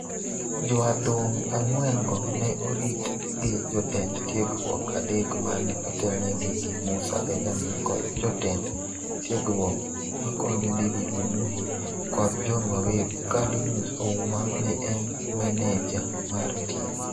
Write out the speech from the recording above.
Joadhong' ang'wen-go ne orit gi jotend tiegruok adek mane otelnegi gi Musa Benjamin kod jotend tiegruok makonyo David Munuhe kod John Waweru ka Linus Ouma ne en maneja mar tim.